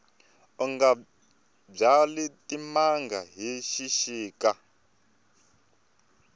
unga byali timanga hi xixika